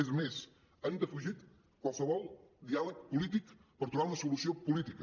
és més han defugit qualsevol diàleg polític per trobar una solució política